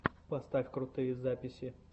поставь крутые записи